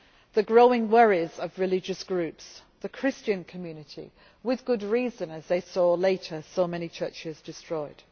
The growing worries of religious groups the Christian community, with good reason, as they saw later so many churches destroyed.